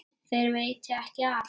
Þér veitir ekki af.